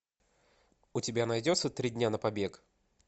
у тебя найдется три дня на побег